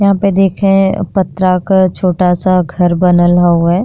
यहां पे देखे पत्रा क छोटा सा घर बनल हव्वे।